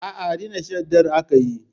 Aa, Rina Shaddar aka yi